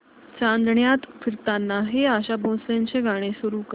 चांदण्यात फिरताना हे आशा भोसलेंचे गाणे सुरू कर